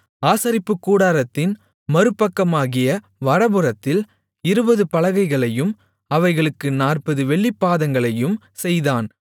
ஆசரிப்புக்கூடாரத்தின் மறுபக்கமாகிய வடபுறத்தில் இருபது பலகைகளையும் அவைகளுக்கு நாற்பது வெள்ளிப்பாதங்களையும் செய்தான்